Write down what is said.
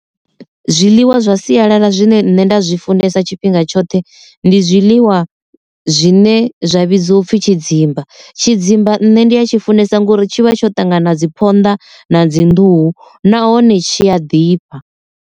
Zwiḽiwa zwa sialala zwine nṋe nda zwi funesa tshifhinga tshoṱhe ndi zwiḽiwa zwine zwa vhidziwa upfi tshidzimba, tshidzimba nne ndi a tshi funesa ngori tshivha tsho ṱangana dzi phonḓa na dzi nḓuhu nahone tshi a ḓifha.